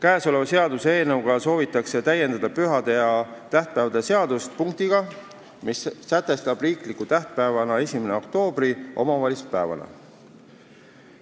Selle seaduseelnõuga soovitakse pühade ja tähtpäevade seadust täiendada punktiga, mis sätestab 1. oktoobri riikliku tähtpäevana – omavalitsuspäevana.